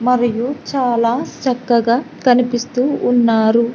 మరియు చాలా చక్కగా కనిపిస్తూ ఉన్నారు.